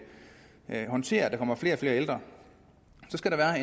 håndtere at der kommer flere og flere ældre skal der